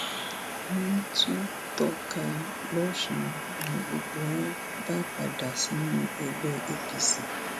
wọn tú tọp ká lọsùn ni gbogbo wọn bá padà sínú ẹgbẹ apc